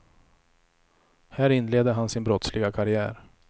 Här inledde han sin brottsliga karriär.